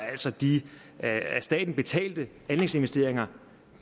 altså de af staten betalte anlægsinvesteringer